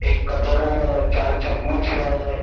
एक कटोरा है चार चम्मच है।